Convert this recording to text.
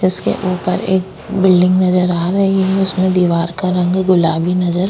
इसके ऊपर एक बिल्डिंग नजर आ रही है उसमे दिवार का रंग गुलाबी नजर --